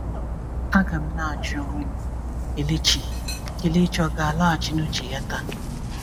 A ga m na-ajụ onwe m, Kelechi Kelechi ò ga-alaghachi n’uche ya taa?"